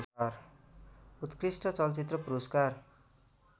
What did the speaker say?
उत्कृष्ट चलचित्र पुरस्कार